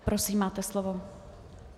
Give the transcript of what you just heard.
Prosím, máte slovo.